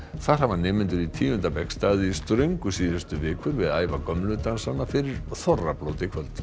þar hafa nemendur í tíunda bekk staðið í ströngu síðustu vikur við að æfa gömlu dansana fyrir þorrablót í kvöld